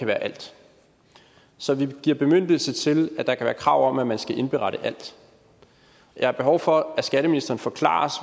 være alt så vi giver bemyndigelse til at der kan være krav om at man skal indberette alt jeg har behov for at skatteministeren forklarer